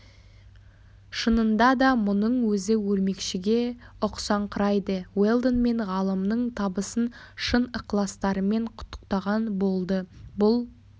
шынында да мұның өзі өрмекшіге ұқсаңқырайды уэлдон мен ғалымның табысын шын ықыластарымен құттықтаған болды бұл